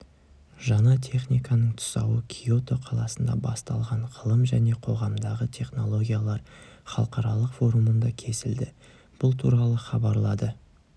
жаңа техниканың тұсауы киото қаласында басталған ғылым және қоғамдағы технологиялар халықаралық форумында кесілді бұл туралы хабарлады